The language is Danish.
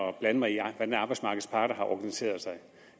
at blande mig i hvordan arbejdsmarkedets parter har organiseret sig